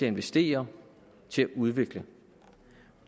investere til at udvikle